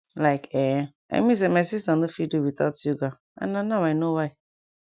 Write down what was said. like[um]i mean say my sister nor fit do without yoga and na now i know why